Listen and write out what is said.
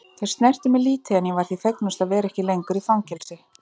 Þau snertu mig lítið en ég var því fegnust að vera ekki lengur í fangelsi.